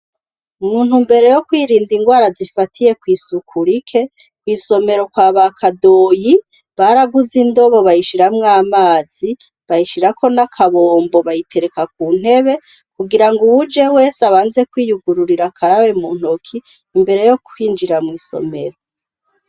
Mu ntumbero yo kwirinda ingwara zifatiye kw'isuku rike, kw'isomero kwa ba Kadoyi, baraguze indobo, bayishiramwo amazi, bayishirako n'akabombo, bayitereka ku ntebe, kugira ngo uwuje wese, abanze kwiyugururira, akarabe mu ntoki, imbere yo kwinjira mw'isomero.